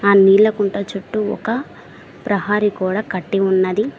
ఆ నీలకుంట చుట్టూ ఒక ప్రహరీ గోడ కట్టి ఉన్నది.